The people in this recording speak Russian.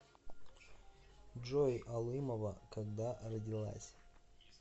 джой алымова когда родилась